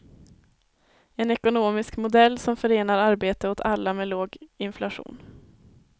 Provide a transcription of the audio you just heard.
En ekonomisk modell som förenar arbete åt alla med låg inflation.